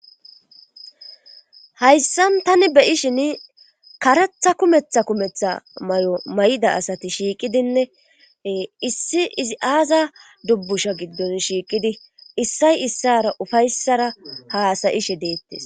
hayssa tani beishin karatha kumetha kumetha may7o may7da asati shiiqidinne issi izi aaza dubbusha giddon shiiqidi issay issara ufayssara haasayishe deettes